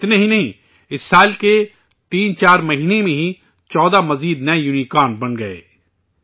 اتنا ہی نہیں ، اس سال کے 3 سے 4 مہینے میں ہی 14 اور نئے یونیکارن بن گئے ہیں